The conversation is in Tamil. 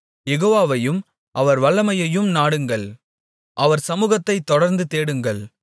யெகோவாவையும் அவர் வல்லமையையும் நாடுங்கள் அவர் சமுகத்தைத் தொடர்ந்து தேடுங்கள்